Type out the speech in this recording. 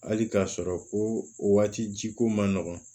Hali k'a sɔrɔ ko waati ji ko man nɔgɔn